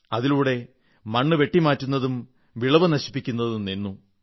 അതിലൂടെ മണ്ണുവെട്ടിമാറ്റുന്നതും വിളവ് നശിപ്പിക്കുന്നതും നിന്നു